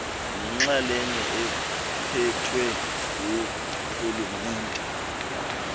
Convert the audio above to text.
nenxalenye ephethwe ngurhulumente